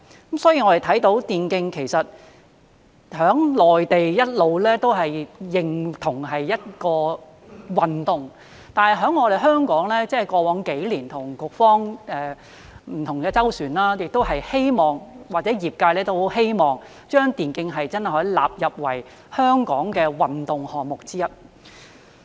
我們看到電競在內地一直被認同是一種運動，但在香港，過往幾年我們與局方就此有不同的周旋，而業界亦很希望真的可以把電競納入為香港的運動項目之一。